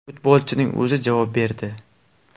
Futbolchining o‘zi javob berdi.